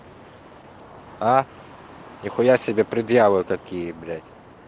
а нихуя себе предъявы такие блять